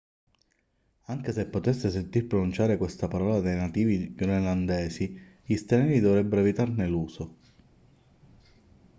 anche se potreste sentir pronunciare questa parola dai nativi groenlandesi gli stranieri dovrebbero evitarne l'uso